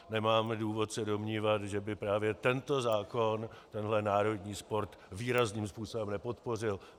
Nemáme důvod se domnívat, že by právě tento zákon tenhle národní sport výrazným způsobem nepodpořil.